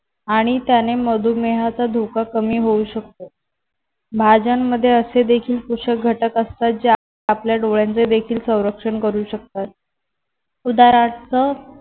आणि त्याने मधुमेहाचा धोका कमी होऊ शकतो भाज्यांमध्ये असे देखील पोषक घटक असतात जे आपल्या डोळ्यांचे देखील संरक्षण करू शकतात उदाहरणार्थ